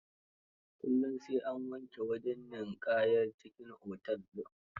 Kullum sai an wanke wajen ninƙayar cikin otel din.